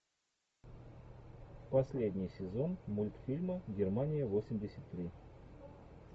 последний сезон мультфильма германия восемьдесят три